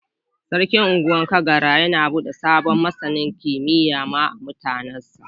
Sarkin Ungwan Kadara yana bude sabon masanin kimiyyar ma'a mutanin sa.